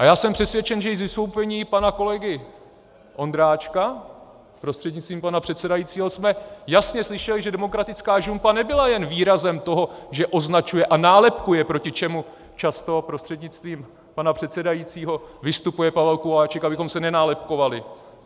A já jsem přesvědčen, že i z vystoupení pana kolegy Ondráčka prostřednictvím pana předsedajícího jsme jasně slyšeli, že demokratická žumpa nebyla jen výrazem toho, že označuje a nálepkuje, proti čemu často prostřednictvím pana předsedajícího vystupuje Pavel Kováčik, abychom se nenálepkovali.